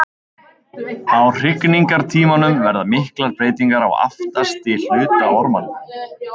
Á hrygningartímanum verða miklar breytingar á aftasti hluta ormanna.